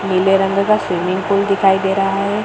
नीले रंग का स्विमिंग पूल दिखाई दे रहा है।